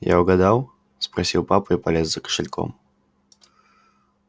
я угадал спросил папа и полез за кошельком